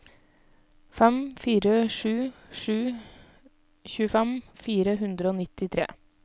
fem fire sju sju tjuefem fire hundre og nittitre